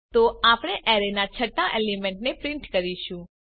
તો આપણે અરેના છઠ્ઠા એલિમેન્ટને પ્રિન્ટ કરીશું